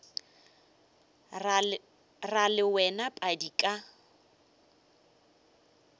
ra le wena padi ka